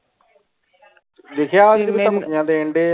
ਲਿਖਿਆ ਧਮਕੀਆਂ ਦੇਣੇ ਦੇ ਇਹ